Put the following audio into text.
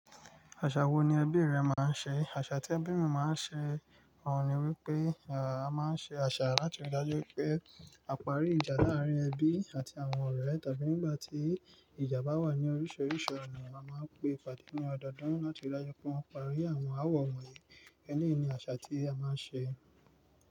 Àṣà wo ni ẹbí rẹ máa ń ṣe? Àṣà tí ẹbí mi máa ń ṣe òun ni wípé a máa ń ṣe àṣà láti rí i dájú pé a parí ìjà láàárín ẹbí àti àwọn ọ̀rẹ́ tàbí nígbà tí ìjà bá wà ní oríṣiríṣi ọ̀nà, a máa ń pe ìpàdé ní ọdọọdún láti rí i dájú pé wọ́n parí àwọn ááwọ̀ wọ̀nyí. Ẹni ni àṣà tí a máa ń ṣe.